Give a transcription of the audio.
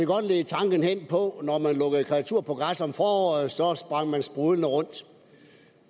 godt lede tanken hen på når man lukkede kreaturer på græs om foråret så sprang de sprudlende rundt